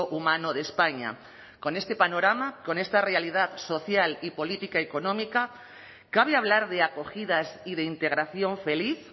humano de españa con este panorama con esta realidad social y política económica cabe hablar de acogidas y de integración feliz